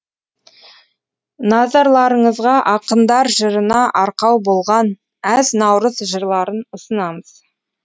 назарларыңызға ақындар жырына арқау болған әз наурыз жырларын ұсынамыз